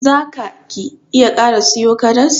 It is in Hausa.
Za ka / ki iya kara siyo karas?